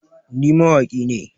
Ni mawaƙi ne